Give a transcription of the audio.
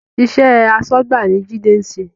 Iṣẹ́ asọ́gbà ni Jide ń ṣe